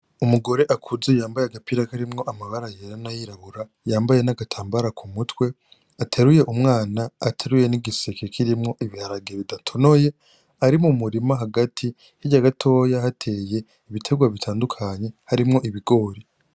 Umugore akuze yambaye agapira karimwo amabara yera nayirabura yambaye n' agatambara kumutwe ateruye umwana ateruye n' igiseke kirimwo ibiharage bidatonoye ari mumurima hagati, hirya gatoya hateye ibitegwa bitandukanye harimwo ibigori.